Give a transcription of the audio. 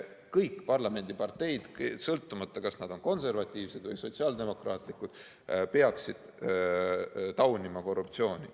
Kõik parlamendi parteid, sõltumata sellest, kas nad on konservatiivsed või sotsiaaldemokraatlikud, peaksid taunima korruptsiooni.